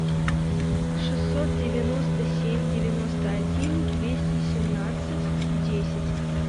шестьсот девяносто семь девяносто один двести семнадцать десять